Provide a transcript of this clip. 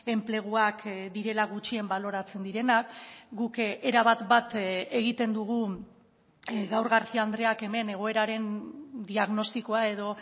enpleguak direla gutxien baloratzen direnak guk erabat bat egiten dugu gaur garcía andreak hemen egoeraren diagnostikoa edo